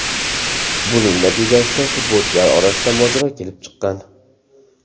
Buning natijasida futbolchilar orasida mojaro kelib chiqqan.